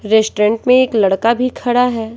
Restaurant में एक लड़का भी खड़ा है।